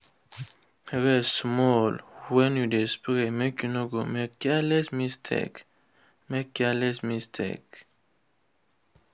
rest small when you dey spray make you no go make careless mistake. make careless mistake.